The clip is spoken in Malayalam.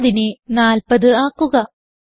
30നെ 40 ആക്കുക